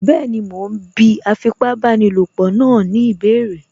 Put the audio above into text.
Bẹ́ẹ̀ni, mo ún bí afipábanílòpọ̀ náà ní ìbéèrè